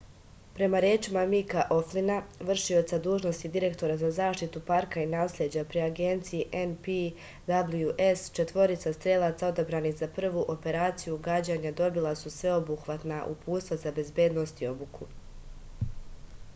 prema rečima mika oflina vršioca dužnosti direktora za zaštitu parka i nasleđa pri agenciji npws četvorica strelaca odabranih za prvu operaciju gađanja dobila su sveobuhvatna uputstva za bezbednost i obuku